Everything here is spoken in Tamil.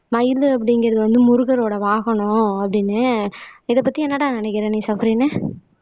மயிலு அப்படிங்கறது வந்து முருகரோட வாகனம் அப்படின்னு இதைப்பத்தி என்னடா நினைக்கிற நீ சஃப்ரின்னு